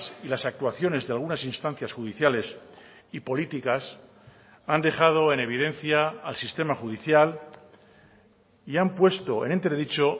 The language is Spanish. y las actuaciones de algunas instancias judiciales y políticas han dejado en evidencia al sistema judicial y han puesto en entredicho